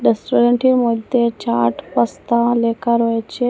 Restaurant -টির মধ্যে chaat pasta লেখা রয়েছে।